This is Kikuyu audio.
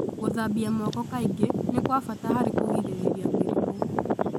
Gũthambia moko kaingĩ nĩ kwa bata harĩ kũgirĩrĩria mĩrimũ.